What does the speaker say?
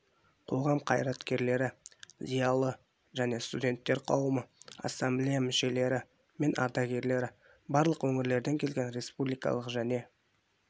қоғам қайраткерлері зиялы және студенттер қауымы ассамблея мүшелері мен ардагерлері барлық өңірлерден келген республикалық және